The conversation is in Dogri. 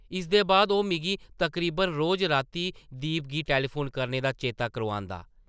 इसदे बाद ओह् मिगी तकरीबन रोज रातीं दीप गी टैलीफोन करने दा चेता करोआंदा ।